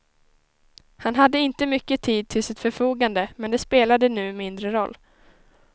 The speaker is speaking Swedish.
Han hade inte mycket tid till sitt förfogande, men det spelade nu mindre roll.